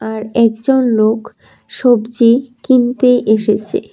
আর একজন লোক সবজি কিনতে এসেছে।